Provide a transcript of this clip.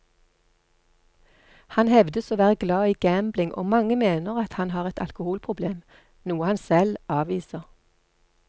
Han hevdes å være glad i gambling og mange mener at han har et alkoholproblem, noe han selv avviser.